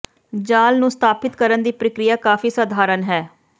ਜਾਲ ਨੂੰ ਸਥਾਪਿਤ ਕਰਨ ਦੀ ਪ੍ਰਕਿਰਿਆ ਕਾਫ਼ੀ ਸਧਾਰਨ ਹੈ